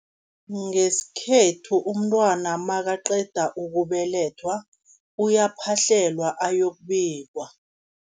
Ngesikhethu umntwana nakaqeda ukubelethwa, uyaphahlelwa ayokubikwa.